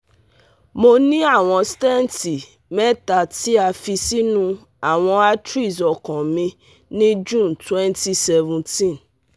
Mo ni awọn stenti mẹta ti a fi sinu awọn arteries ọkan mi ni June 2017